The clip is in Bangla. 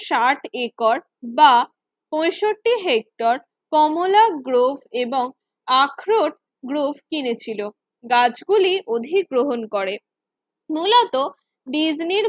ষাট একর বা পঁয়ষট্টি হেক্টর কমলা গ্রুপ এবং আখরোট গ্রুপ কিনেছিল। গাছগুলি অধিগ্রহণ করে মূলত ডিজনির